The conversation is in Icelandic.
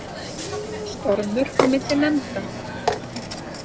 Stormur á milli nefnda